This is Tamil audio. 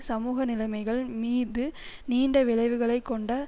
சமூக நிலைமைகள் மீது நீண்ட விளைவுகளை கொண்ட